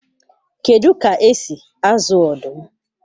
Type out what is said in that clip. Kedu ka esi azụ ọdụm?